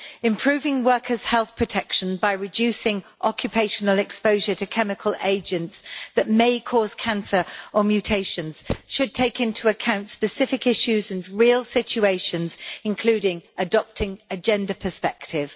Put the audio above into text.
Improving workers' health protection by reducing occupational exposure to chemical agents that may cause cancer or mutations should take into account specific issues and real situations, including adopting a gender perspective.